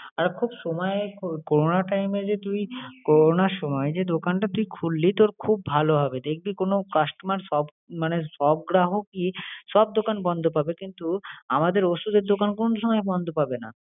এখন সময়ে corona time এ যে তুই করোনার সময়ে যে দোকানটা তুই খুললি, তোর খুব ভালো হবে। দেখবি কোন customer সব মানে সব গ্রাহকই সব দোকান বন্ধ পাবে কিন্তু আমাদের ওষুধের দোকান কোন সময়ে বন্ধ পাবে না।